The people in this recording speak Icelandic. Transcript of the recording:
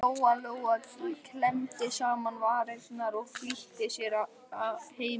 Lóa Lóa klemmdi saman varirnar og flýtti sér heim á leið.